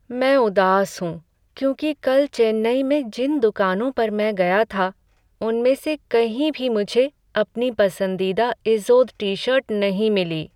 मैं उदास हूँ क्योंकि कल चेन्नई में जिन दुकानों पर मैं गया था, उनमें से कहीं भी मुझे अपनी पसंदीदा इज़ोद टी शर्ट नहीं मिली।